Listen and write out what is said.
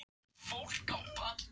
Hún minnti hann ekki á neitt á